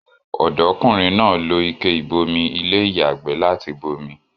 Ọ̀dọ́ kùnrin náà lo ike ìbomi ilé ìyàgbẹ́ láti bomi